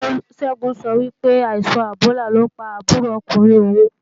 Ṣẹ́gun sọ wípé, àìsàn ẹ̀bólà ló pa àbúrò ọkùnrin òun